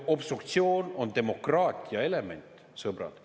Obstruktsioon on demokraatia element, sõbrad.